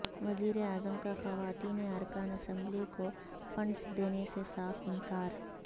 وزیر اعظم کا خواتین ارکان اسمبلی کو فنڈز دینے سے صاف انکار